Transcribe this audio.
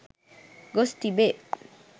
ගොස් තිබේ.